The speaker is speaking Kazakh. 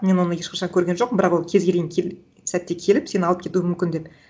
мен оны ешқашан көрген жоқпын бірақ ол кез келген сәтте келіп сені алып кетуі мүмкін деп